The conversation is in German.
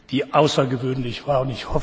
die außergewöhnlich war.